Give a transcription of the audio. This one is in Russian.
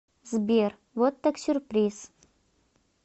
сбер вот так сюрприз